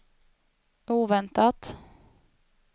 oväntat